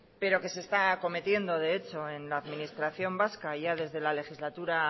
pero que se está acometiendo de hecho en la administración vasca ya desde la legislatura